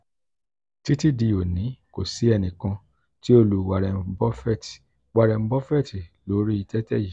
titi di oni ko si ẹnikan ti o lu warren buffet warren buffet lori tẹtẹ yii.